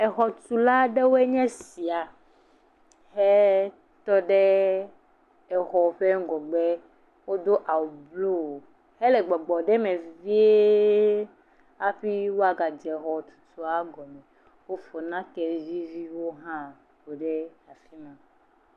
Exɔtula aɖewoe nye esia hetɔ ɖe xɔ ƒe ŋgɔgbe do awu blu hele gbɔgbɔm ɖe eme vie afi woaga dze xɔtutua gɔme wofɔ nake vi aɖewo ha kɔɖe afima